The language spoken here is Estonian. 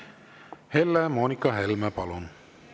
Helle-Moonika Helme, palun!